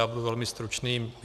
Já budu velmi stručný.